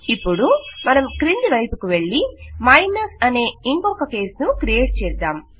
ఇపుడు మనం క్రింది వైపుకు వెళ్ళి మైనస్ అనే ఇంకొక కేస్ ను క్రియేట్ చేద్దాం